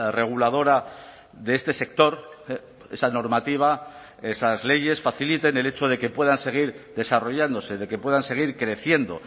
reguladora de este sector esa normativa esas leyes faciliten el hecho de que puedan seguir desarrollándose de que puedan seguir creciendo